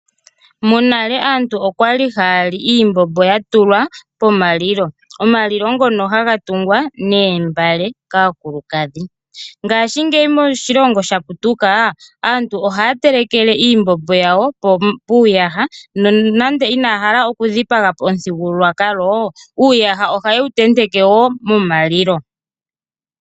Monale aantu oya li haa li iimbombo ya tulwa pomalilo. Omalilo oha ga tungwa noombale kaakulukadhi. Mongaashingeyi aantu ohaa telekele iimbombo yawo muuyaha. Uuyaha oha ye wu tenteke momalilo opo kaaya dhipagepo omuthigululwakalo.